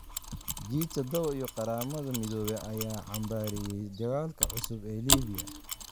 G tadhawo iyo Qaramada Midoobay ayaa cambaareeyay dagaalka cusub ee Liibiya